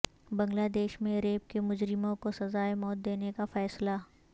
بنگلہ دیش میں ریپ کے مجرموں کو سزائے موت دینے کا فیصلہ